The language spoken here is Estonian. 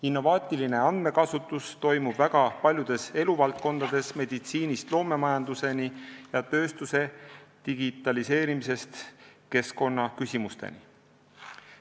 Innovaatiline andmekasutus toimub väga paljudes eluvaldkondades, meditsiinist loomemajanduseni ja tööstuse digitaliseerimisest keskkonnaküsimusteni.